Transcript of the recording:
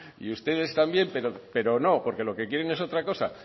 y ustedes también pero no porque lo que quieren es otra cosa